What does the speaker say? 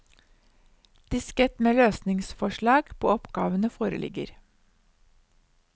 Diskett med løsningsforslag på oppgavene foreligger.